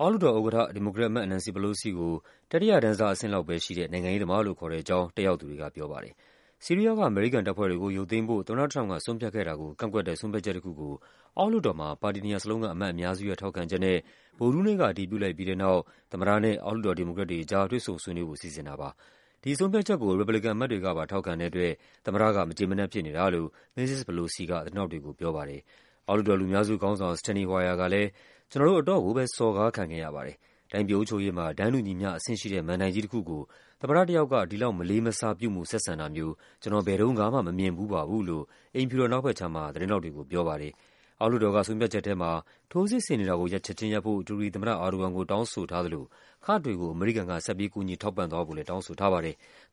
အောက်လွှတ်တော်ဥက္ကဋ္ဌ ဒီမိုကရက်အမတ် Nancy Pelosi ကို “တတိယတန်းစား နိုင်ငံရေးသမား” လို့ ခေါ်တဲ့အကြောင်း တက်ရောက်သူတွေကပြောပါတယ်။ ဆီးရီးယားက အမေရိကန်တပ်ဖွဲ့တွေကို ရုပ်သိမ်းဖို့ သမ္မတထရမ့်ပ်က ဆုံးဖြတ်ခဲ့တာကို ကန့်ကွက်တဲ့ ဆုံးဖြတ်ချက်တခုကို အောက်လွှတ်တော်မှာ ပါတီနှစ်ရပ်စလုံးက အမတ်အများစုရဲ့ ထောက်ခံချက်နဲ့ ဗုဒ္ဓဟူးနေ့က အတည်ပြုလိုက်ပြီးတဲ့နောက် သမ္မတနဲ့ အောက်လွှတ်တော် ဒီမိုကရက်တွေကြား တွေ့ဆုံဆွေးနွေးဖို့ စီစဉ်တာပါ။ ဒီဆုံးဖြတ်ချက်ကို ရီပတ်ဘလီကန်အမတ်တွေကပါ ထောက်ခံတဲ့အတွက် သမ္မတက မကျေမနပ်ဖြစ်နေတာလို့ မစ္စစ် Pelosi က သတင်းထောက်တွေကို ပြောပါတယ်။ အောက်လွှတ်တော် လူများစုခေါင်းဆောင် Steny Hoyer ကလည်း “ကျနော်တို့ အတော့်ကိုပဲ စော်ကားခံခဲ့ရပါတယ်၊ တိုင်းပြည် အုပ်ချုပ်ရေးမှာ တန်းတူညီမျှအဆင့်ရှိတဲ့ မဏ္ဍိုင်ကြီးတခုကို သမ္မတတယောက်က ဒီလောက် မလေးမစား ပြုမူဆက်ဆံတာမျိုး ကျနော် ဘယ်တုန်းကမှ မမြင်ဖူးပါဘူး” လို့ အိမ်ဖြူတော် အနောက်ဘက်ခြမ်းမှာ သတင်းထောက်တွေကို ပြောပါတယ်။ အောက်လွှတ်တော်ကဆုံးဖြတ်ချက်ထဲမှာ ထိုးစစ်ဆင်နေတာကို ချက်ခြင်းရပ်ဖို့ တူရကီသမ္မတ Erdogan ကိုတောင်းဆိုထားသလို ကာ့ဒ်တွေကို အမေရိကန်က ဆက်ပြီး ကူညီထောက်ပံ့သွားဖို့လည်း တောင်းဆိုထားပါတယ်။